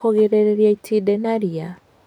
Kũgirĩrĩria itindiĩ na ria